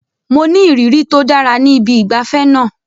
Mo ní ìrírí tó dára ní ibi ìgbafẹ́ náà.